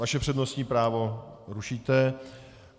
Vaše přednostní právo rušíte.